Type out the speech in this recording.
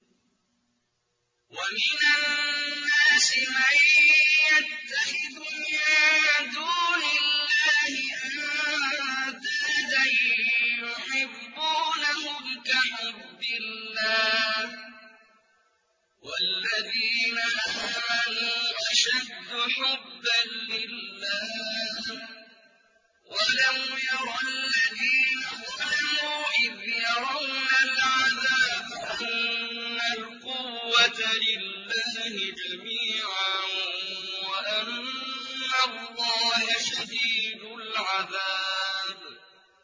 وَمِنَ النَّاسِ مَن يَتَّخِذُ مِن دُونِ اللَّهِ أَندَادًا يُحِبُّونَهُمْ كَحُبِّ اللَّهِ ۖ وَالَّذِينَ آمَنُوا أَشَدُّ حُبًّا لِّلَّهِ ۗ وَلَوْ يَرَى الَّذِينَ ظَلَمُوا إِذْ يَرَوْنَ الْعَذَابَ أَنَّ الْقُوَّةَ لِلَّهِ جَمِيعًا وَأَنَّ اللَّهَ شَدِيدُ الْعَذَابِ